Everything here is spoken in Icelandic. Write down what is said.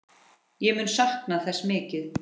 Ég mun sakna þess mikið.